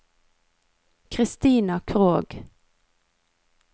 Christina Krogh